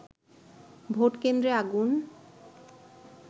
ভোটকেন্দ্রে আগুন